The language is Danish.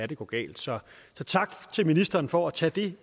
det går galt så tak til ministeren for at tage det